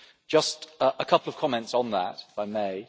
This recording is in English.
Just a couple of comments on that if I may.